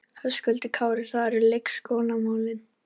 Höskuldur Kári: Það eru leikskólamálin?